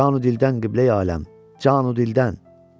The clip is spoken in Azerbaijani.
Canu dildən qibləyəm, canu dildən.